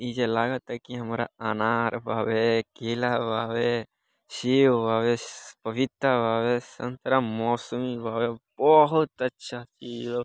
नीचे लागत ऐ के हमरा अनार भावे केला भावे शेव भवेश पपीता भवेस संतरा मॉसमी भवेस बहुत अच्छा इया।